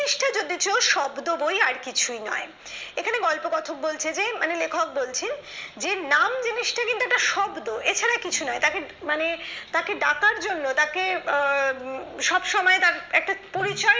যদিও শব্দ বই আর কিছু নয় এখানে গল্পকথা বলছে যে মানে লেখক বলছেন যে নাম জিনিসটা কিন্তু একটা একটা শব্দ এছাড়া কিছু নয় তবে মানে তাকে ডাকার জন্য তাকে সব সময় তার একটা পরিচয়